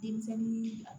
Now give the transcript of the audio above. Denmisɛnnin bila